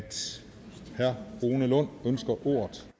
herre rune lund ønsker ordet